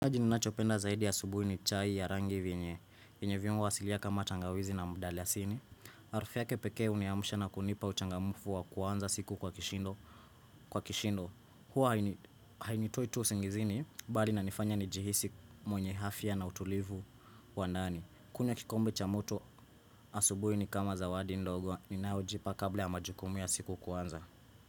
Haji ninachopenda zaidi ya asubuhi ni chai ya rangi vyenye, vyenye viungo asilia kama tangawizi na mdalasini. Harufu yake pekee huniamsha na kunipa uchangamfu wa kuanza siku kwa kishindo. Kwa kishindo, huwa hainitoi tu usingizini, bali inanifanya nijihisi mwenye afya na utulivu wa ndani. Kunywa kikombe cha moto, asubuhi ni kama zawadi ndogo, ninayojipa kabla ya majukumu ya siku kuanza.